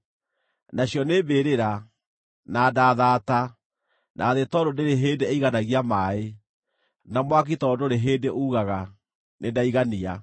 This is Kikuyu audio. Nacio nĩ mbĩrĩra, na nda thaata, na thĩ tondũ ndĩrĩ hĩndĩ ĩiganagia maaĩ, na mwaki tondũ ndũrĩ hĩndĩ uugaga, ‘Nĩndaigania!’